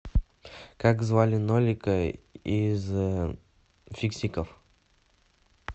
как звали нолика из фиксиков